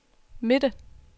midte